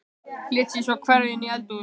Lét sig svo hverfa inn í eldhús.